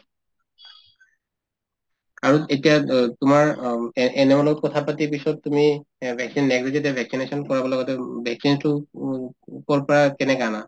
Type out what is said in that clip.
আৰু এতিয়া অ তোমাৰ অম্ AN ANM ৰ লগত কথাপাতি পিছত তুমি এই vaccine next day যেতিয়া vaccination কৰাব লগাতে উম vaccines তো উম কৰ পৰা কেনেকে আনা